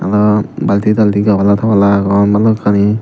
ar balti talti gabla tabla agon balukkani.